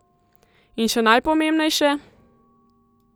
In še najpomembnejše?